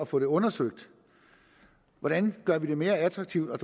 få det undersøgt hvordan vi gør det mere attraktivt at